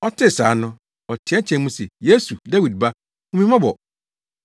Ɔtee saa no, ɔteɛteɛɛ mu se, “Yesu, Dawid Ba, hu me mmɔbɔ!”